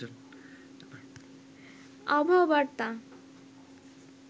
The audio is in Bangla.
আবহাওয়া বার্তা